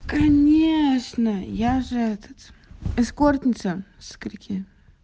конеечно я же этот эскортница скольки